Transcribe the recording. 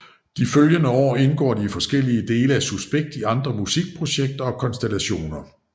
De følgende år indgår de forskellige dele af Suspekt i andre musikprojekter og konstellationer